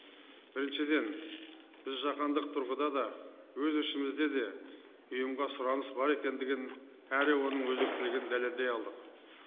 біріншіден біз жағандық тұрғыда да өз ішімізде де ұйымға сұраныс бар екендігін әрі оның өзектілігін дәлелдей алдық